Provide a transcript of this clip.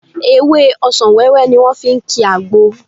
Ewé ọsàn wẹ́wẹ́ ni wọ́n fi ń ki àgbo